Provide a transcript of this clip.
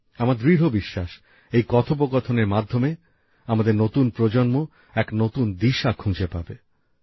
আমার দৃঢ় বিশ্বাস এই কথোপকথনের মাধ্যমে আমাদের নতুন প্রজন্ম এক নতুন দিশা খুঁজে পাবে